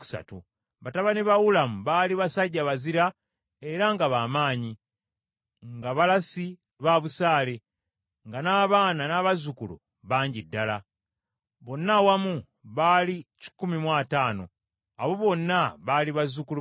Batabani ba Ulamu baali basajja bazira era nga b’amaanyi, nga balasi ba busaale, nga n’abaana n’abazzukulu bangi ddala. Bonna awamu baali kikumi mu ataano. Abo bonna baali bazzukulu ba Benyamini.